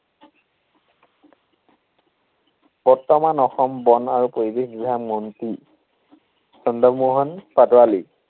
বৰ্তমান অসম বন আৰু পৰিৱেশ বিভাগ মন্ত্ৰী চন্দ্ৰমোহন পাটোৱালী।